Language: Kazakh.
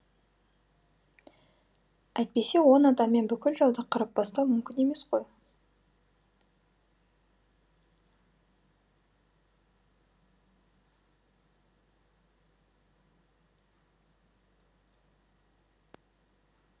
әйтпесе он адаммен бүкіл жауды қырып тастау мүмкін емес қой